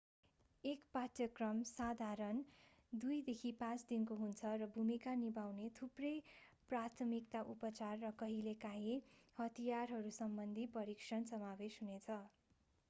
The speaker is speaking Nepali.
एक पाठ्यक्रम साधारणतया 2-5 दिनको हुन्छ र भूमिका निभाउने थुप्रै प्राथमिक उपचार र कहिलेकाहिँ हतियारहरूसम्बन्धी प्रशिक्षण समावेश हुनेछ